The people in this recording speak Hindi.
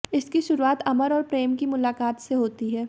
इसकी शुरुआत अमर और प्रेम की मुलाकात से होती है